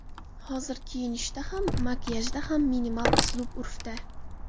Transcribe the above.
Hozir kiyinishda ham, makiyajda ham minimal uslub urfda.